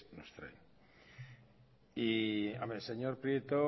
nos traen y señor prieto